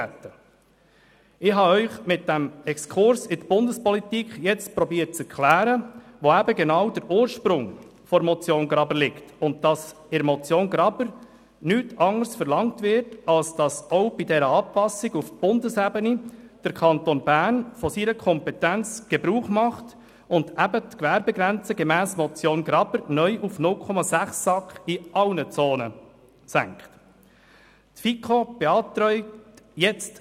Mit diesem Exkurs in die Bundespolitik habe ich versucht, Ihnen zu erklären, wo der Ursprung der Motion Graber liegt und dass sie nichts anderes verlangt, als dass auch bei dieser Anpassung auf Bundesebene der Kanton Bern von seine Kompetenz Gebrauch macht und die Gewerbegrenze gemäss Motion der Graber neu SAK in allen Zonen auf 0,6 senkt.